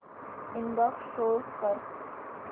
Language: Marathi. इनबॉक्स शो कर